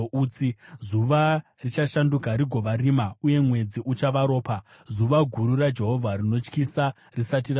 Zuva richashanduka rigova rima, uye mwedzi uchava ropa, zuva guru raJehovha rinotyisa risati rasvika.